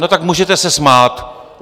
No, tak můžete se smát.